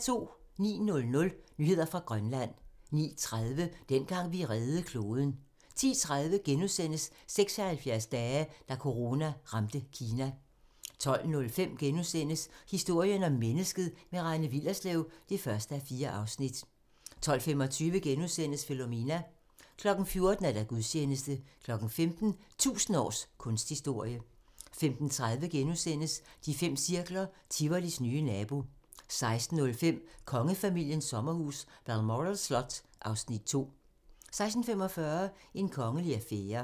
09:00: Nyheder fra Grønland 09:30: Dengang vi reddede kloden 10:30: 76 dage: Da corona ramte Kina * 12:05: Historien om mennesket - med Rane Willerslev (1:4)* 12:25: Philomena * 14:00: Gudstjeneste 15:00: 1000 års kunsthistorie 15:30: De fem cirkler - Tivolis nye nabo * 16:05: Kongefamiliens sommerhus - Balmoral slot (Afs. 2) 16:45: En kongelig affære